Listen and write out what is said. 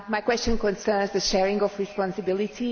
My question concerns the sharing of responsibility.